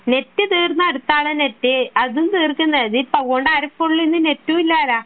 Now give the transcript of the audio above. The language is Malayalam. നെറ്റ് തീർന്നാൽ ആണ് നെറ്റ് അതും തീർക്കുന്നത് അതുകൊണ്ട് ആർക്കും നെറ്റും ഇല്ലല്ലോ